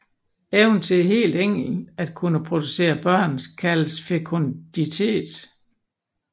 Evnen til helt enkelt at kunne producere børn kaldes fekunditet